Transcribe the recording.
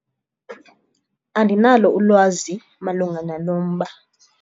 Andinalo ulwazi malunga nalo mba.